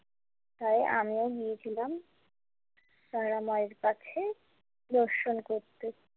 তাই আমিও গিয়েছিলাম তারামায়ের কাছে দর্শন করতে।